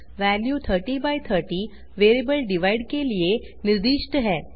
value 3030 variable divide के लिए निर्दिष्ट है